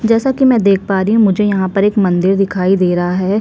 जैसा की में देख पा रही हु मुझे यहाँ पर एक मंदिर दिखाई दे रहा है।